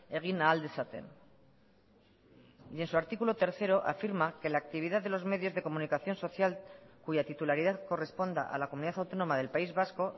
egin ahal dezaten y en su artículo tercero afirma que la actividad de los medios de comunicación social cuya titularidad corresponda a la comunidad autónoma del país vasco